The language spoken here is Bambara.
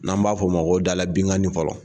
N'an b'a fɔ o ma ko da la binkanni fɔlɔ